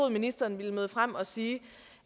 at ministeren ville møde frem og sige